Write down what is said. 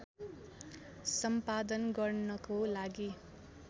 सम्पादन गर्नको लागि